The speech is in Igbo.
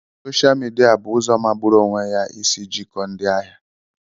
Soshal midia bụ ụzọ magburu onwe ya isi jikọọ ndị ahịa.